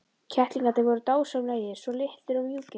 Kettlingarnir voru dásamlegir, svo litlir og mjúkir.